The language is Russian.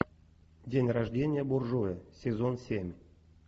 день рождения буржуя сезон семь